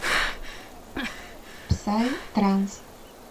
псай транс